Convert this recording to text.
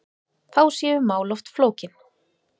Þá séu mál oft flókin.